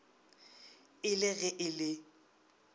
e le ge e le